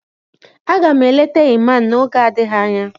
Aga m eleta Iman n'oge adịghị anya